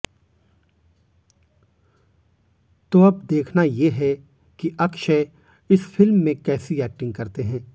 तो अब देखना ये है कि अक्षय इस फिल्म में कैसी एक्टिंग करते हैं